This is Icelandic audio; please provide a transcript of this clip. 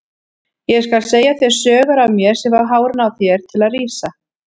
Ég skal segja þér sögur af mér sem fá hárin á þér til að rísa.